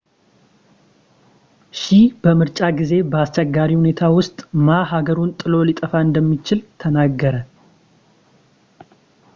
ሺህ በምርጫ ጊዜ በአስቸጋሪ ሁኔታ ውስጥ ማ ሀገሩን ጥሎ ሊጠፋ እንደሚችል ተናገረ